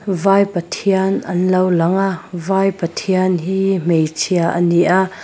vai pathian an lo langa vai pathian hi hmeichhia ani a.